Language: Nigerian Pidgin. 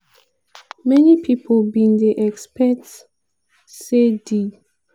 many pipo bin dey expect say di